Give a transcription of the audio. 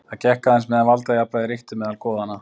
Það gekk aðeins meðan valdajafnvægi ríkti meðal goðanna.